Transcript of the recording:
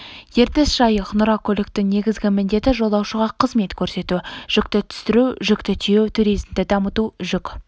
ертіс жайық нұра көліктің негізгі міндеті жолаушыға қызмет көрсету жүкті түсіру жүкті тиеу туризмді дамыту жүк